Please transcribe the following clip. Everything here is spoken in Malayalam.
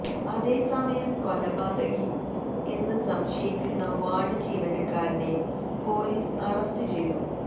അതേ സമയം കൊലപാതകി എന്ന് സംശയിക്കുന്ന വാര്ഡ് ജീവനക്കാരനെ പൊലീസ് അറസ്റ്റ് ചെയ്തു